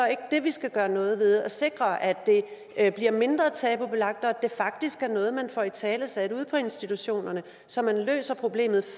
ikke det vi skal gøre noget ved altså at sikre at det bliver mindre tabubelagt og at det faktisk er noget man får italesat ude på institutionerne så man løser problemet